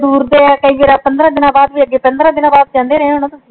ਦੂਰ ਤੇ ਕਈ ਵਰਾਂ ਪੰਦਰਾਂ ਦੀਨਾ ਬਾਅਦ ਪੰਦਰਾਂ ਦੀਨਾ ਬਾਅਦ ਵੀ ਕਹਿੰਦੇ ਰਹੇ ਹੋ ਨਾ ਤੁਸੀਂ